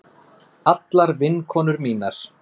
Allar vinkonur mínar.